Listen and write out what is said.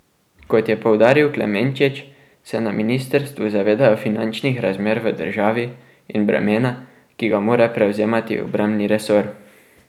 Kot je poudaril Klemenčič, se na ministrstvu zavedajo finančnih razmer v državi in bremena, ki ga mora prevzemati obrambni resor.